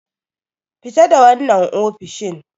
Fita da wannan ofishin!